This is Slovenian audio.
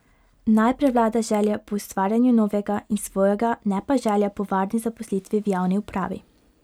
Naj prevlada želja po ustvarjanju novega in svojega, ne pa želja po varni zaposlitvi v javni upravi.